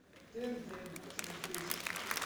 тнт смотреть